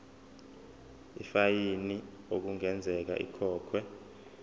ifayini okungenzeka ikhokhwe